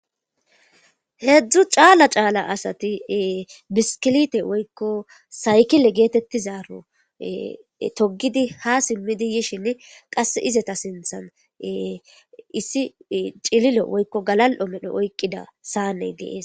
heedzdzu caala caala asati biskilite woykko saykile geetettizaaro togidi ha simmidi yishin qas izeta sinthan issi cililo woykko galal7o medho oykqida saaney dees